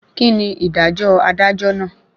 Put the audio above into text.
Kíni ìdájọ́ adájọ́ náà?